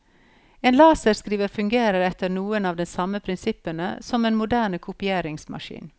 En laserskriver fungerer etter noen av de samme prinsippene som en moderne kopieringsmaskin.